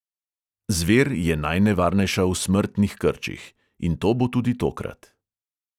Zver je najnevarnejša v smrtnih krčih, in to bo tudi tokrat.